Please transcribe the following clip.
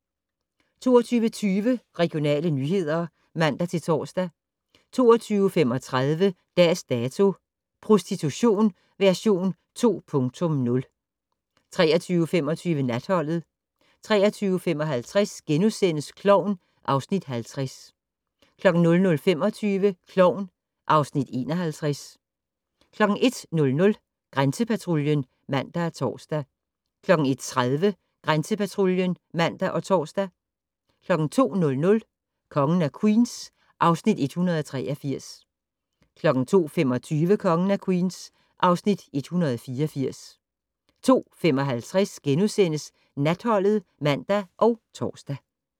22:20: Regionale nyheder (man-tor) 22:35: Dags Dato: Prostitution version 2.0 23:25: Natholdet 23:55: Klovn (Afs. 50)* 00:25: Klovn (Afs. 51) 01:00: Grænsepatruljen (man og tor) 01:30: Grænsepatruljen (man og tor) 02:00: Kongen af Queens (Afs. 183) 02:25: Kongen af Queens (Afs. 184) 02:55: Natholdet *(man og tor)